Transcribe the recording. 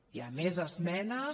hi ha més esmenes